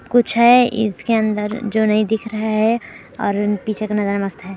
कुछ हैं इसके अंदर जो नई दिख रहा हैं और पीछे का नजारा मस्त हैं ।